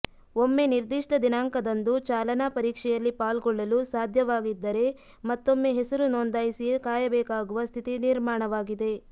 ಒಮ್ಮೆ ನಿರ್ಧಿಷ್ಟ ದಿನಾಂಕದಂದು ಚಾಲನಾ ಪರೀಕ್ಷೆಯಲ್ಲಿ ಪಾಲ್ಗೊಳ್ಳಲು ಸಾಧ್ಯವಾಗಿದ್ದರೆ ಮತ್ತೊಮ್ಮೆ ಹೆಸರು ನೋಂದಾಯಿಸಿಯೇ ಕಾಯಬೇಕಾಗುವ ಸ್ಥಿತಿ ನಿರ್ಮಾಣವಾಗಿದೆ